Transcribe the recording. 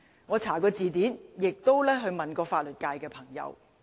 我查過字典，亦詢問過法律界的朋友。